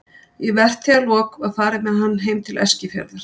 Í vertíðarlok var farið með hann heim til Eskifjarðar.